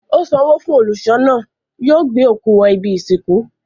Ó sanwó fún olùṣọ́ náà. Yóò gbé òkú wọ ibi-ìsìnkú.